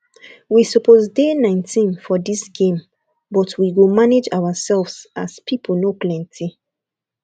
we suppose dey nineteen for ds game but we go manage ourselves as people no plenty